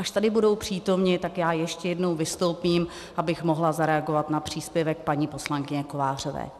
Až tady budou přítomni, tak já ještě jednou vystoupím, abych mohla zareagovat na příspěvek paní poslankyně Kovářové.